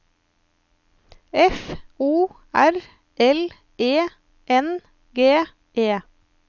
F O R L E N G E